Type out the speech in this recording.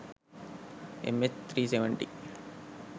mh370